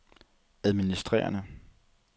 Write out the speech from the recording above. administrerende